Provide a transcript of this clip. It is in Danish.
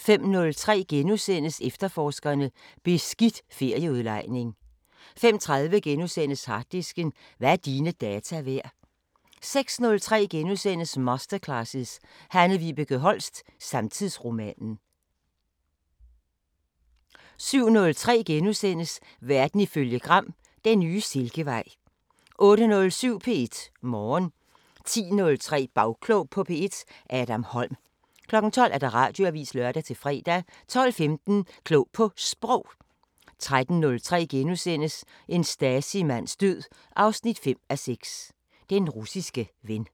05:03: Efterforskerne: Beskidt ferieudlejning * 05:30: Harddisken: Hvad er dine data værd? * 06:03: Masterclasses – Hanne Vibeke Holst: Samtidsromanen * 07:03: Verden ifølge Gram: Den nye silkevej * 08:07: P1 Morgen 10:03: Bagklog på P1: Adam Holm 12:00: Radioavisen (lør-fre) 12:15: Klog på Sprog 13:03: En Stasi-mands død 5:6: Den russiske ven *